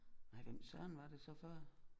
Nej hvem Søren var det så før